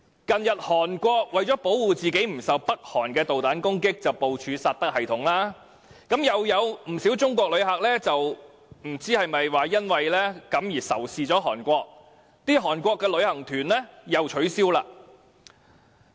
近日韓國為了保護自己免受北韓的導彈攻擊而部署薩德反導彈系統，又有不少中國人，不知是否因而仇視韓國，取消到韓國旅行。